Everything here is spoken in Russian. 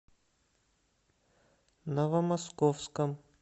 новомосковском